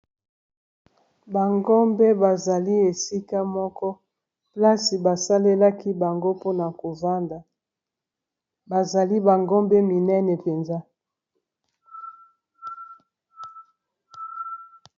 Ba ngombe bazali esika moko plasi basalelaki bango mpona kovanda bazali ba ngombe minene mpenza.